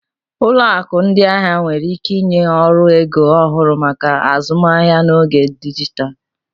Ụlọ akụ ndị ahịa nwere ike ịnye ọrụ ego ọhụrụ maka azụmaahịa n'oge dijitalụ.